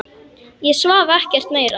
Ég svaf ekkert meira.